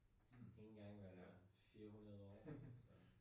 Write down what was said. En gang hver 400 år